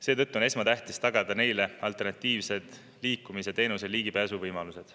Seetõttu on esmatähtis tagada neile alternatiivsed teenusele ligipääsu võimalused.